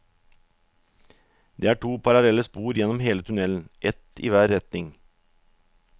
Det er to parallelle spor gjennom hele tunnelen, ett i hver retning.